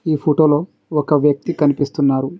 ఈ ఫోటోలో ఒక వ్యక్తి కనిపిస్తున్నారు.